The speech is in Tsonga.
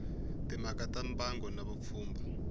timhaka ta mbango na vupfhumba